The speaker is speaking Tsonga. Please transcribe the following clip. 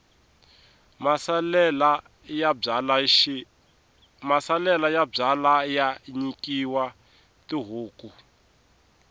masalela ya byalwa ya nyikiwa tihuku